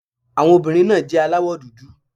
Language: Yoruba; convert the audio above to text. Àwọn obìnrin náà jẹ́ aláwọ̀ dúdú.